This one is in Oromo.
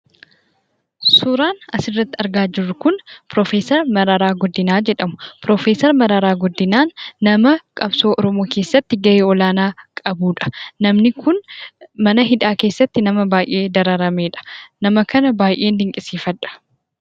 Suuraan asirratti argaa jirru kun pirofeesar Mararaa Guddinaa jedhamu. Pirofeesar Mararaa Guddinaan nama qabsoo oromoo keessatti gahee olaanaa qabudha. Namni kun mana hidhaa keessatti nama baayyee dararameedha. Nama kana baayyeen dinqisiifadha.